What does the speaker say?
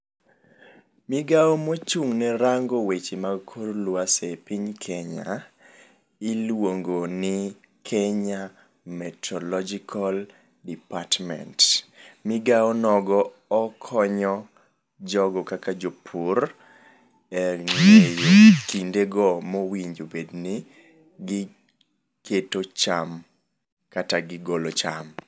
Migawo mochung' ne rango weche mag kor lwasi e piny Kenya iluongo ni Kenya meteorological department. Migawo nogo okonyo jogo kaka jopur e ng'eyo kinde go mowinjo obed ni giketo cham kata gigolo cham.